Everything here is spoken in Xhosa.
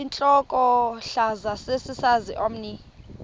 intlokohlaza sesisaz omny